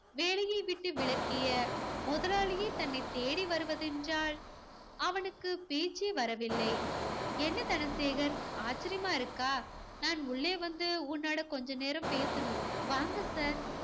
வேலையை விட்டு விலக்கிய முதலாளியே தன்னைத் தேடி வருவதென்றால், அவனுக்கு பேச்சே வரவில்லை என்ன தனசேகர் ஆச்சரியமா இருக்கா நான் உள்ளே வந்து உன்னோட கொஞ்ச நேரம் பேசணும். வாங்க sir